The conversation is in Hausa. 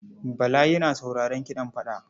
Bala yana sauraron kiɗan fada.